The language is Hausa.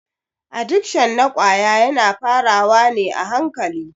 Adikshon na ƙwaya yana fara wa ne a hankali.